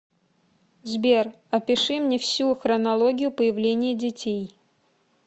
сбер опиши мне всю хронологию появления детей